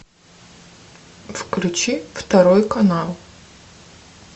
включи второй канал